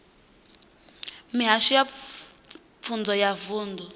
mihasho ya pfunzo ya vunḓu